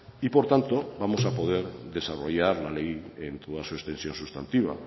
y por tanto vamos a poder desarrollar la ley en toda su extensión sustantiva